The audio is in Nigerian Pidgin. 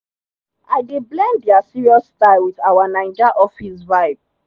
i dey blend their serious style with our naija office vibe.